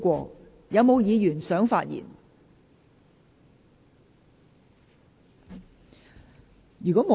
是否有議員想發言？